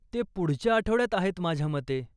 ते पुढच्या आठवड्यात आहेत माझ्या मते.